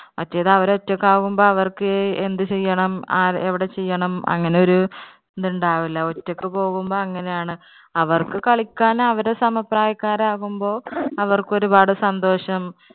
മറ്റേത് അവര് ഒറ്റയ്ക്ക് ആകുമ്പോൾ അവർക്ക് എന്ത് ചെയ്യണം ഏർ എവിടെ ചെയ്യണം അങ്ങനെ ഒരു ഇത് ഉണ്ടാവില്ല, ഒറ്റയ്ക്ക് പോകുമ്പോൾ അങ്ങനെ ആണ്. അവർക്ക് കളിക്കാൻ അവരുടെ സമപ്രായക്കാർ ആകുമ്പോൾ അവർക്ക് ഒരുപാട് സന്തോഷം